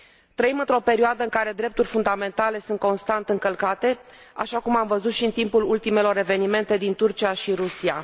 Trăim într o perioadă în care drepturi fundamentale sunt constant încălcate, așa cum am văzut și în timpul ultimelor evenimente din Turcia și Rusia.